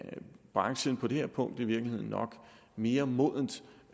branchen på det her punkt i virkeligheden nok er mere moden til